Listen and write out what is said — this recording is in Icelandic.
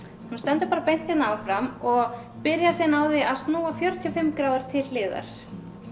hún stendur beint hérna áfram og byrjar síðan á því að snúa fjörutíu og fimm gráður til hliðar